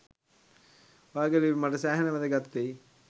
ඔයාගේ ලිපි මට සෑහෙන වැදගත්වෙයි